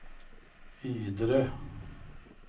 Ydre